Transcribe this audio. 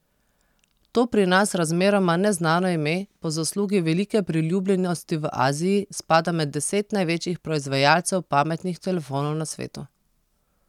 To pri nas razmeroma neznano ime po zaslugi velike priljubljenosti v Aziji spada med deset največjih proizvajalcev pametnih telefonov na svetu.